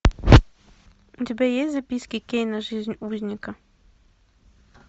у тебя есть записки кейна жизнь узника